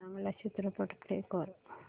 चांगला चित्रपट प्ले कर